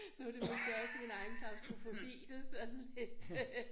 Nu det måske også min egen klaustrofobi det sådan lidt